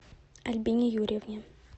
альбине юрьевне